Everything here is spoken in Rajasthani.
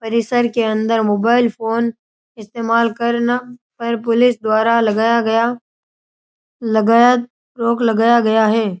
परिसर के अंदर मोबाइल फ़ोन इस्तेमाल करना पर पुलिस द्वारा लगया गया लगाया रोक लगाया गया है।